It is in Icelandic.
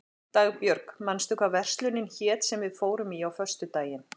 Dagbjörg, manstu hvað verslunin hét sem við fórum í á föstudaginn?